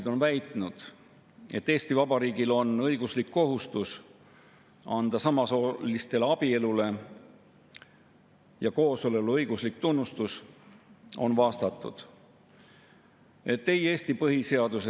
Euroopa inimõiguste konventsioonis, kodaniku- ja poliitiliste õiguste rahvusvahelises paktis ega ka muudes Eestile siduvais inimõigusalastes rahvusvahelistes lepingutes ei ole sätestatud kohustust, et me Eesti Vabariigis peaksime seadustega kirjutama perekonna ja abielu institutsiooni tähendust ümber sellisel viisil, mida täna peale sunnitakse meile ja sunnitakse peale ka koalitsioonisaadikutele.